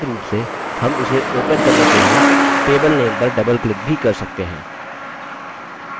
वैकल्पिक रूप से हम इसे open करने के लिए table name पर double click भी कर सकते हैं